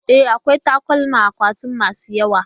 E, akwai takalma a akwatina masu yawa.